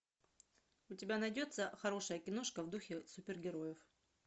у тебя найдется хорошая киношка в духе супергероев